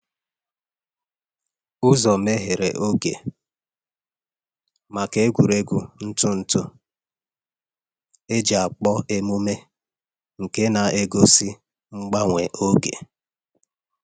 Uzo meghere oghe maka egwuregwu ntụ ntụ e ji akpọ emume nke na egosi mgbanwe oge.